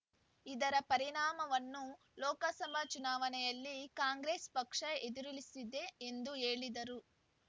ಇದರ ಪರಿಣಾಮವನ್ನು ಲೋಕಸಭಾ ಚುನಾವಣೆಯಲ್ಲಿ ಕಾಂಗ್ರೆಸ್‌ ಪಕ್ಷ ಎದುರಿಸಲಿದೆ ಎಂದು ಹೇಳಿದರು